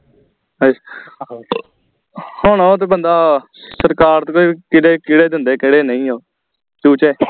ਹੁਣ ਉਹ ਤੇ ਬੰਦਾ ਸਰਕਾਰ ਦੇ ਜਿਹਦੇ ਕਿਹੜੇ ਦਿੰਦੇ ਕਿਹੜੇ ਨਹੀਂ ਓ ਚੂਚੇ